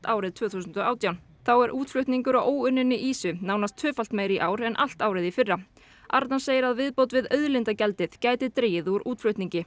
árið tvö þúsund og átján þá er útflutningur á óunninni ýsu nánast tvöfalt meiri í ár en allt árið í fyrra arnar segir að viðbót við auðlindagjaldið gæti dregið úr útflutningi